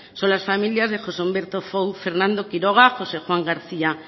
son las familias de josé humberto fouz fernando quiroga josé juan garcía